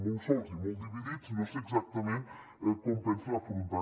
molt sols i molt dividits no sé exactament com ho pensen afrontar